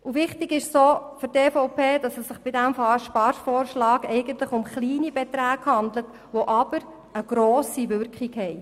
Für die EVP ist es auch wichtig, dass es sich bei diesem Sparvorschlag eigentlich um kleine Beträge handelt, die aber eine grosse Wirkung haben.